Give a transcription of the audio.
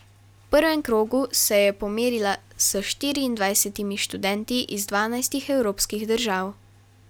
V prvem krogu se je pomerila s štiriindvajsetimi študenti iz dvanajstih evropskih držav.